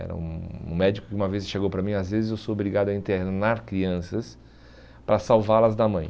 Era um um médico que uma vez chegou para mim, às vezes eu sou obrigado a internar crianças para salvá-las da mãe.